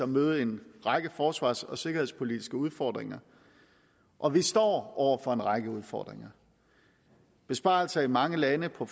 møder en række forsvars og sikkerhedspolitiske udfordringer og vi står over for en række udfordringer besparelser i mange lande på